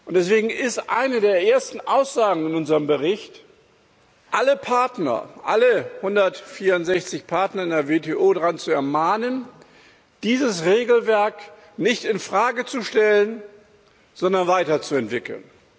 Deswegen ist eine der ersten Aussagen in unserem Bericht, alle Partner, alle 164 Partner in der WTO, zu ermahnen, dieses Regelwerk nicht in Frage zu stellen, sondern weiterzuentwickeln.